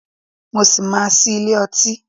Mo ṣì máa ṣí ilé ọtí.